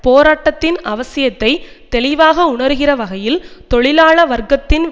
போராரட்டத்தின் அவசியத்தை தெளிவாக உணருகிற வகையில் தொழிலாள வர்க்கத்தின்